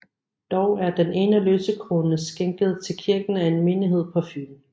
Dog er den ene lysekrone skænket til kirken af en menighed på Fyn